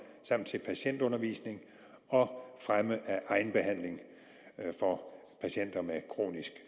og til patientundervisning og fremme af egenbehandling for patienter med kronisk